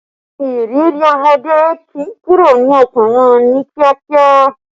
Ìrírí ọmọdé kì í kúrò ní ọkàn wọn ní kíákíá